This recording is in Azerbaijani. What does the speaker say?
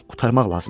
Qurtarmaq lazımdır.